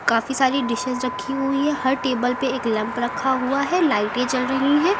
काफी सारी डिशेज रखी हुई है हर टेबल पे एक लैंप रखा हुआ है लाइटें जल रही हैं।